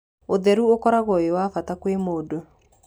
ũtheru ũkoragũo wĩ wa bata kwĩ mũndũ.